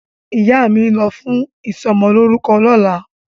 Ìyá mi ń lọ fún ìsọmọlórúkọ lọ́la.